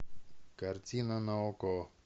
картина на окко